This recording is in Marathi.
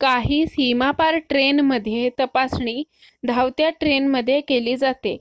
काही सीमापार ट्रेन मध्ये तपासणी धावत्या ट्रेन मध्ये केली जाते